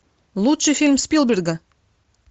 лучший фильм спилберга